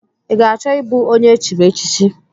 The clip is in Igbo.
Ị ga-achọ ịbụ onye echiri echichi?